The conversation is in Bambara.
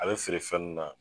A be feere fɛn n na